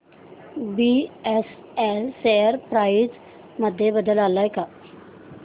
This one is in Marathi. बीएसएल शेअर प्राइस मध्ये बदल आलाय का